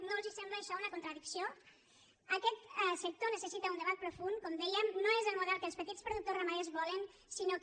no els sembla això una contradicció aquest sector necessita un debat profund com dèiem no és el model que els petits productors ramaders volen sinó que